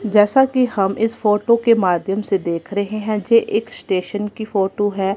जैसा कि हम इस फोटो के माध्यम से देख रहे हैं जे एक स्टेशन की फोटो है।